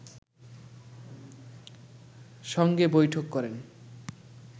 সঙ্গে বৈঠক করেন